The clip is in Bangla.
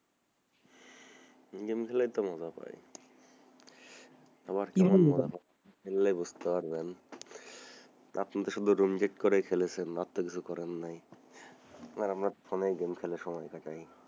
game খেলেই তো মজা পাই আবার কেমন মজা খেলেই বুঝতে পারবেন আপনি তো শুধু রুম বেড করেই খেলেছেন আর আমরা ফোনেই game খেলে সময় কাটাই,